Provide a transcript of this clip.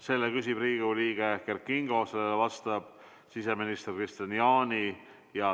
Selle küsib Riigikogu liige Kert Kingo, vastab siseminister Kristian Jaani.